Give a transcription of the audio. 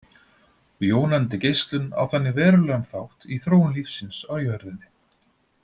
Jónandi geislun á þannig verulegan þátt í þróun lífsins á jörðinni.